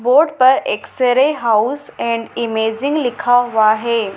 Board पर x ray house and imaging लिखा हुआ है।